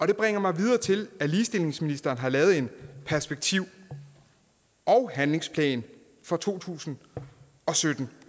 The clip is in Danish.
det bringer mig videre til at ligestillingsministeren har lavet en perspektiv og handlingsplan for to tusind og sytten